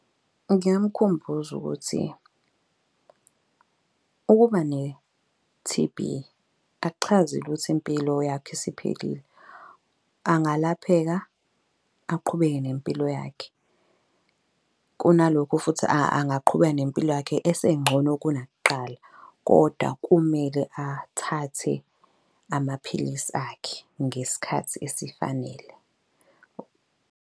Ngingamkhumbuza ukuthi ukuba ne-T_B akuchazi impilo yakhe isiphelile. Angalapheka, aqhubeke nempilo yakhe kunalokhu futhi angaqhubeka nempilo yakhe esengcono kunakuqala. Kodwa kumele athathe amaphilisi akhe ngesikhathi esifanele.